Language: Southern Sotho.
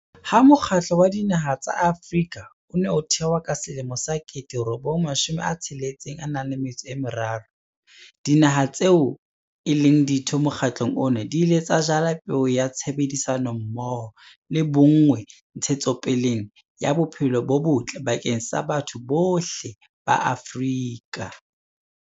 Ha Mokgatlo wa Dinaha tsa Afrika o ne o thewa ka 1963, Dinaha tseo e leng Ditho mokgatlong ona di ile tsa jala peo ya tshebedisano mmoho le bonngwe ntshetsopeleng ya bophelo bo botle bakeng sa batho bohle ba Afrika.